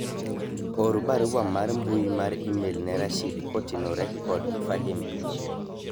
or barua mar mbui mar email ne Rashid kotenore kod Fahim